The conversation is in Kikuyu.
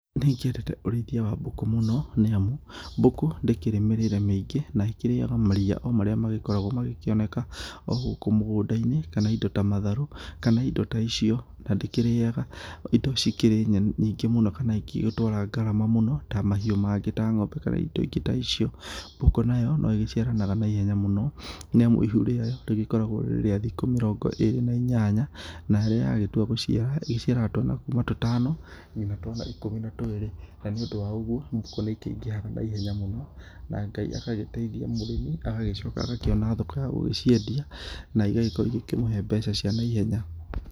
Nĩgĩendete ũrĩithia wa mbũkũ mũno nĩamu mbũkũ ndĩkĩrĩ mĩrĩre mĩingĩ na ĩkĩrĩaga maria marĩa magĩkoragwo magĩkĩoneka ogũkũ mũgũnda-inĩ kana indo ta matharũ kana indo ta icio na ndikĩrĩaga indo cikĩrĩ nyingĩ mũno kana ingĩgĩtũara ngarama mũno ta mahiũ mangĩ ta ng'ombe kana indo ingĩ ta icio, mbũkũ nayo no ĩgĩciaranaga naĩhenya mũno nĩamu ihu riayo rĩgĩkoragwo rĩrĩ rĩa thikũ mĩrongo ĩrĩ na inyanya na rĩrĩa yagĩtua gũgĩciara ĩgĩciaraga twana kuma tũtano nginya twana ikũmi na twĩrĩ na nĩ ũndũ wa ũgũo mbũkũ nĩ ĩkĩigĩhaga na ihenya mũno na Ngai agagĩteithia mũrĩmi agagĩcoka agakĩona thoko ya gũgĩciendia na igagĩkorwo igĩkĩmũhe mbeca cia naihenya.